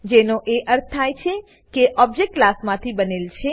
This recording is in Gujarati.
જેનો એ અર્થ થાય છે કે ઓબજેક્ટ ક્લાસમાંથી બનેલ છે